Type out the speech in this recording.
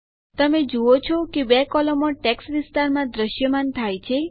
તમે જુઓ છો કે ૨ કોલમો ટેક્સ્ટ વિસ્તારમાં દ્રશ્યમાન થાય છે